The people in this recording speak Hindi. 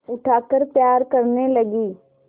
उठाकर प्यार करने लगी